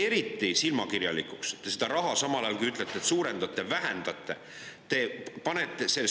Eriti silmakirjalikuks teeb selle see, et samal ajal, kui te ütlete, et te seda raha suurendate, te seda vähendate.